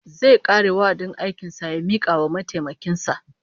Zai kare wa'adin aikin sa ya mika wa mataimakin sa